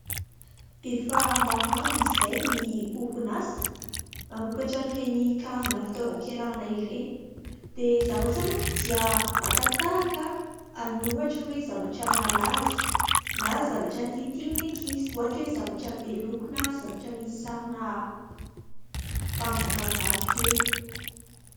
Efa maromaro izay ny orin 'asa mamokatra an 'ireny karazana fitaovam-pianarana ireny ,dia zareo zany an dia makatahaka ny ohatra hoe zavatra malaza , na zavatra titin ny ankizy ohatra hoe zavatra beloko na zavatra misy sarina mpanjakavavy kely.